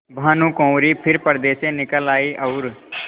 भानुकुँवरि फिर पर्दे से निकल आयी और